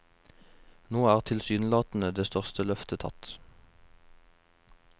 Nå er tilsynelatende det største løftet tatt.